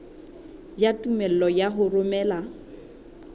ya tumello ya ho romela